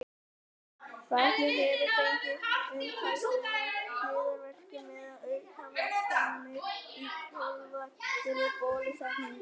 barnið hefur fengið umtalsverða hliðarverkun eða aukaverkanir í kjölfar fyrri bólusetninga